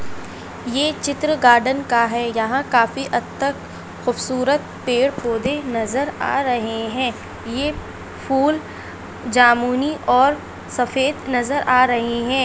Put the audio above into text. ये चित्र गार्डन का है यहाँ काफी हद तक खुबसूरत पेड़-पौधे नजर आ रहे हैं। ये फूल जामुनी और सफ़ेद नज़र आ रहे हैं।